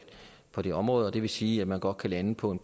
på det område det vil sige at man godt kan lande på en